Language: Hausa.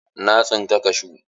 Na tsinka kashu.